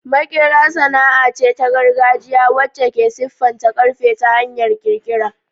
Maƙera sana'a ce ta gargajiya wacce ke siffata ƙarfe ta hanyar ƙirƙira.